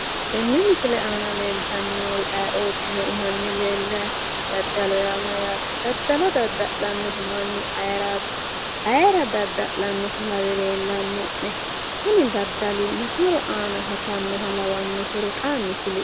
tenne misile aana leeltanni noori ayeeootiro hanni leellayi no. daddalu yaa mayyaate? daddalo dadda'lanno manni ayeeraati? ayeera dadda'lannoha lawe leellanno'ne? kuni daddali ma horo aana hosannoha lawannohero xaanni kulie.